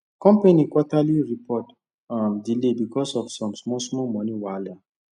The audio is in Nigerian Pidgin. company quarterly report um delay because of some small small money wahala